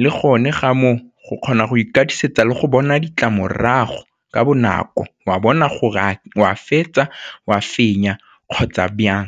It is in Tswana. le gone ga moo go kgona go ikatisetsa le go bona ditlamorago ka bonako wa bona gore a o a fetsa, o a fenya kgotsa jang?